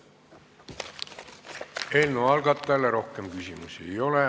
Eelnõu algatajale rohkem küsimusi ei ole.